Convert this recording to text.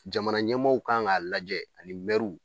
Jamana ɲɛmɔɔw kan k'a lajɛ ani